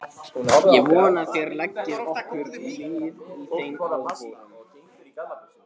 Ég vona að þér leggið okkur lið í þeim áformum.